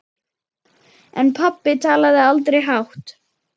En pabbi talaði aldrei hátt.